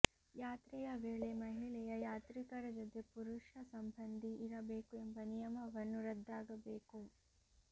ಯಾತ್ರೆಯ ವೇಳೆ ಮಹಿಳೆಯ ಯಾತ್ರಿಕರ ಜೊತೆ ಪುರುಷ ಸಂಬಂಧಿ ಇರಬೇಕು ಎಂಬ ನಿಯಮವನ್ನು ರದ್ದಾಗಬೇಕು